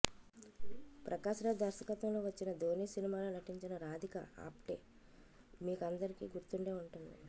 ప్రకాష్ రాజ్ దర్శకత్వంలో వచ్చిన ధోని సినిమాలో నటించిన రాధిక ఆప్టే మీకందరికీ గుర్తుండే ఉంటుంది